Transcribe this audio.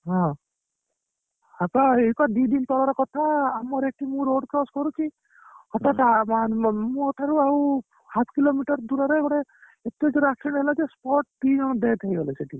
ହଁ ହେଇପା ଦି ଦିନ ତଳର କଥା ଆମର ଏଇଠି ମୁ road cross କରୁଛି ହଠାତ ମୋ ଠାରୁ ଆଉ half kilometer ଦୂରରେ ଗୋଟେ ଏତେ ଜୋରେ accident ହେଲା ଯେ spot ଦି ଜଣ death ହେଇଗଲେ ସେଇଠି